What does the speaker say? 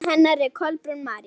Barn hennar er Kolbrún María.